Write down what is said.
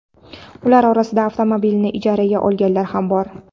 Ular orasida avtomobilni ijaraga olganlar ham bor.